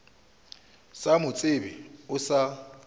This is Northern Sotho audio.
sa mo tsebe o sa